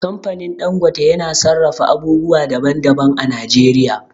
Kamfanin Dangote yana sarrafa abubuwa daban daban a Najeriya